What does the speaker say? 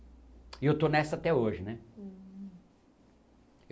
E eu estou nessa até hoje, né?